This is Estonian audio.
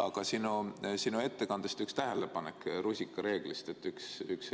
Aga sinu ettekandes oli üks tähelepanek rusikareegli kohta, et üks